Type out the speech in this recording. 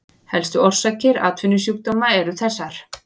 Helstu orsakir atvinnusjúkdóma eru þessar